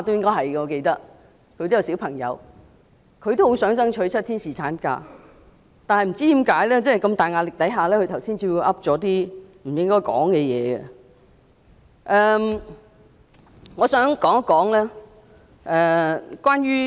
我記得他有小孩——他也很想爭取7天侍產假，但是在巨大壓力下，他剛才卻說了一些不該說的話。